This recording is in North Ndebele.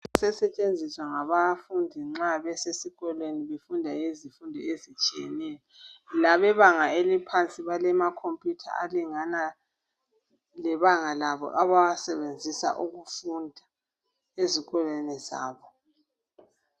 kusetshenziswa ngabafundi nxa besikolweni nxa befunda izifundo ezitshiyeneyo labebanga eliphansi balama computer alingana lebanga labo abawasebenzisa ukufunda ezikolweni zabo